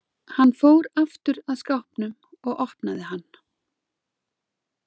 Hann fór aftur að skápnum og opnaði hann.